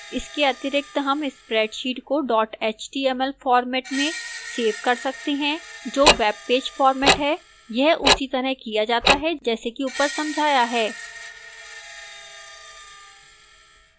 इसके अतिरिक्त हम spreadsheet को dot html format में सेव कर सकते हैं जो web page format है यह उसी तरह किया जाता है जैसा कि ऊपर समझाया है